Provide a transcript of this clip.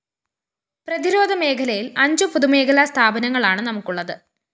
പ്രതിരോധ മേഖലയില്‍അഞ്ചു പൊതുമേഖലാ സ്ഥാപനങ്ങളാണ്‌ നമുക്കുള്ളത്‌